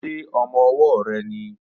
Ṣé ọmọ-ọwọ́ rẹ nìí?